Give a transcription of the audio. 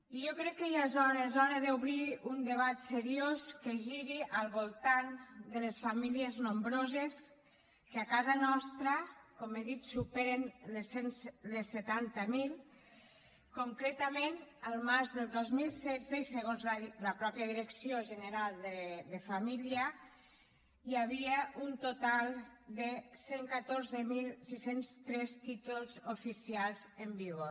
i jo crec que ja és hora és hora d’obrir un debat seriós que giri al voltant de les famílies nombroses que a casa nostra com he dit superen les setanta mil concretament al març del dos mil setze i segons la mateixa direcció general de famílies hi havia un total de cent i catorze mil sis cents i tres títols oficials en vigor